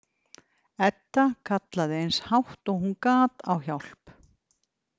Edda kallaði eins hátt og hún gat á hjálp.